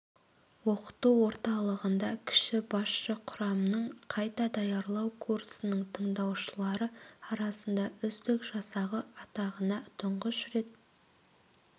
оқыту орталығында кіші басшы құрамның қайта даярлау курсының тыңдаушылары арасында үздік жасағы атағына тұңғыш рет